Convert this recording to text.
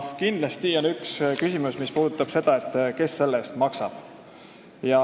Kindlasti on küsimus, kes selle eest maksab.